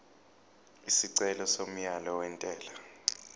isicelo somyalo wentela